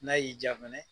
N'a y'i diya fana